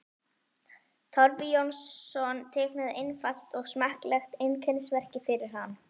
Torfi Jónsson teiknaði einfalt og smekklegt einkennismerki fyrir hann.